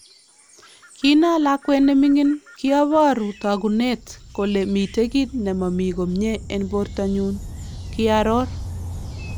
"Kinaa lakweet neming'in , kiaboruu taakunet kole miten kiit nemamii komyee en borto nyun " kaaroor .